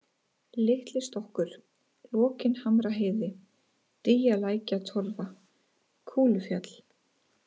Litlistokkur, Lokinhamraheiði, Dýjalækjatorfa, Kúlufjall